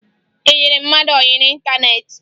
Ị yịrị mmadụ ọyị n'ịntaneetị?